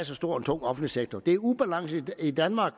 så stor og tung offentlig sektor det er den ubalance i danmark